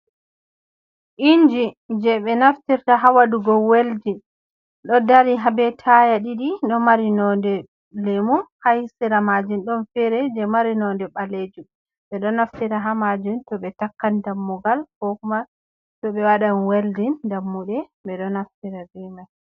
inji jey ɓe naftirta haa waɗugo weldin ɗo dari haa bee taaya ɗiɗi ɗo mari nonnde Lemu haa sera maajum ɗon feere jey mari nonnde ɓaleejum, ɓe ɗo naftira haa maajun to ɓe takkan dammugal koo kuma to ɓe waɗan weldin dammuɗe ɓe ɗo naftira bee may